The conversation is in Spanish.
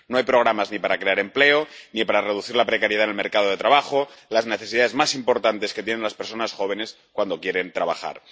No hay programas ni para crear empleo ni para reducir la precariedad en el mercado de trabajo, las necesidades más importantes que tienen las personas jóvenes cuando quieren trabajar.